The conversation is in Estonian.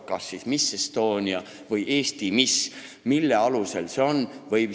Kas siis miss Estonia või Eesti miss – mille alusel see nii on?